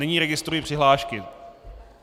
Nyní registruji přihlášky.